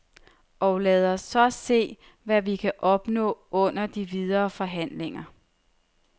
Og lad os så se, hvad vi kan opnå under de videre forhandlinger.